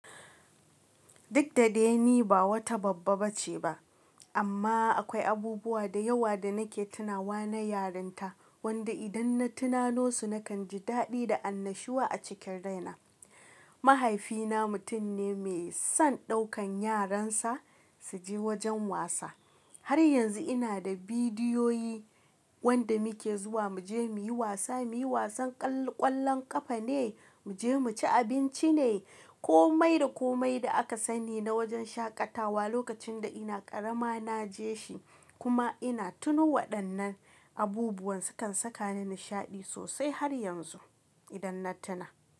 Duk da dai ni ba wata babba ba ce ba, amma akwai abubuwa da yawa da nake tunawa na yarinta, wanda idan na tunano su nakan ji daɗi da annashuwa a cikin rai na. Mahaifina mutum ne mai son ɗaukan yaran sa su je wajen wasa. Har yanzu ina da bidiyoyi wanda muke zuwa mu je muyi wasa, muyi wasan ƙwallon ƙafa ne, mu je mu ci abinci ne, komai da komai da aka sani na wajen shaƙatawa lokacin da ina ƙarama na je shi. Kuma ina tuno waɗannan abubuwan sukan saka ni nishaɗi sosai har yanzu idan na tuna.